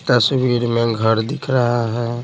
तस्वीर में घर दिख रहा है।